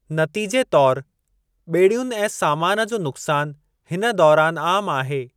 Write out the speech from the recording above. नतीजे तौर, ॿेड़ियुनि ऐं सामान जो नुक़्सान हिन दौरानि आमु आहे।